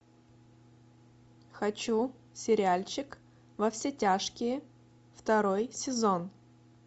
хочу сериальчик во все тяжкие второй сезон